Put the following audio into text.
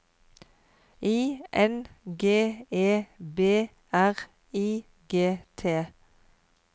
I N G E B R I G T